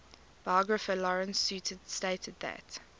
biographer lawrence sutin stated that